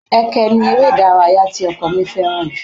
Ẹkẹ ni eré ìdárayá tí ọkọ mi fẹ́ràn jù